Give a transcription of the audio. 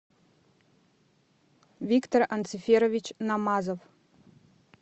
виктор анциферович намазов